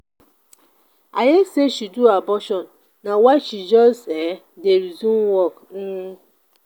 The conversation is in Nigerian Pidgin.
i hear say she do abortion na why she just um dey resume work. um